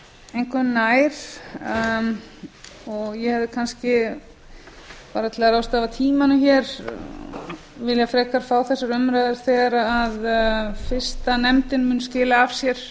engu nær ég hefði bara til að ráðstafa tímanum hér frekar viljað fá þessar umræður þegar fyrsta nefndin mun skila af sér